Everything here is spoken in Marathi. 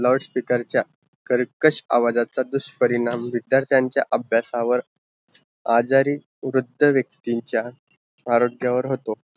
loud speaker च्या कर्केश आवाजाचा दुष परिणाम विचार्च्यानचा अभ्यासावर आजारी वृद्ध व्यक्तींचा फारच जवर होतो